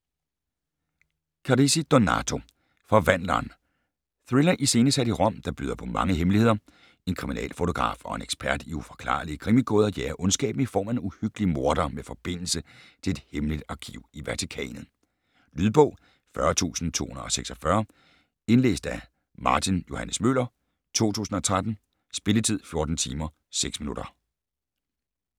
Carrisi, Donato: Forvandleren Thriller iscenesat i Rom, der byder på mange hemmeligheder. En kriminalfotograf og en ekspert i uforklarlige krimigåder jager ondskaben i form af en uhyggelig morder med forbindelse til et hemmeligt arkiv i Vatikanet. Lydbog 40246 Indlæst af Martin Johs. Møller, 2013. Spilletid: 14 timer, 6 minutter.